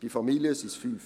Bei Familien sind es 5.